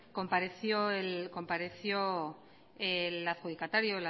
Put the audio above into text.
compareció el adjudicatario